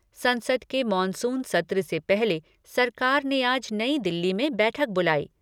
संसद के मॉनसून सत्र से पहले सरकार ने आज नई दिल्ली में बैठक बुलाई।